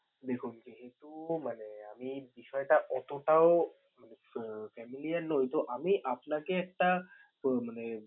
দেখুন, যেহেতু মানে আমি বিষয়টা অতোটাও মানে আহ familiar নই তো আমি আপনাকে একটা আহ মানে